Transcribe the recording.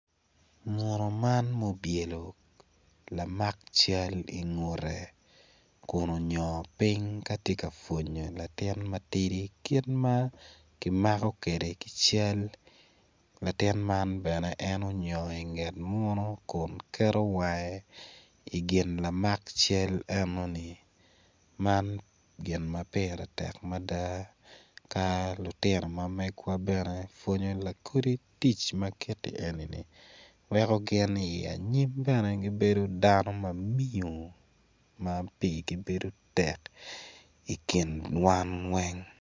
munu man ma obyelo lamak cal ingute kun onyongo piny ka tye ka pwonyo latin ma tidi kit ma kimako kwede ki cal latin man bene en onyongo inget munu kun keto wange igin lamak cal enoni man gin ma pire tek mada ka lutino ma megwa bene pwonyo lakodi tic ma kiti enini weko gin i anyim bene gibedo dano ma miyo ma pirgi bedo tek i kin wan weng.